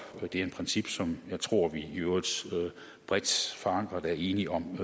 det er et princip som jeg tror vi i øvrigt bredt forankret er enige om